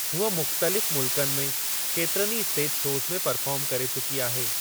हूअ मुख़्तलिफ़ मुल्कनि में केतिरनि ई स्टेज शोज़ में परफ़ार्म करे चकी आहे।